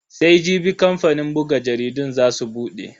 Sai Jibi kamfanin buga jaridun za su bude.